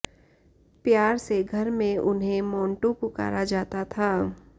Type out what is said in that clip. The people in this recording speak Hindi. प्यार से घर में उन्हें मोंटू पुकारा जाता था